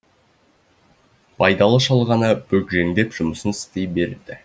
байдалы шал ғана бүгжеңдеп жұмысын істей берді